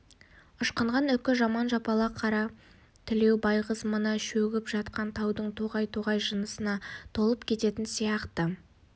ышқынған үкі жаман жапалақ қара тілеу байғыз мына шөгіп жатқан таудың тоғай-тоғай жынысына толып кететін сияқты